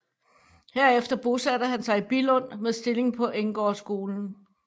Herefter bosatte han sig i Billund med stilling på Enggårdsskolen